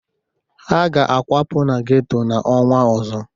Ha ga-akwapụ na geto n'ọnwa ọzọ.